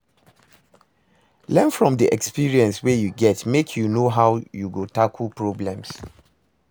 Learn from di experience wey you get make you know how you go tackle problems